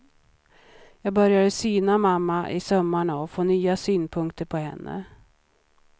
Jag började syna mamma i sömmarna och få nya synpunkter på henne.